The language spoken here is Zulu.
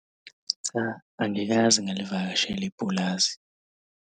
Cha, angikaze ngilivakashele ipulazi.